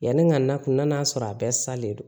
Yanni n ka na kun na n'a sɔrɔ a bɛɛ salen don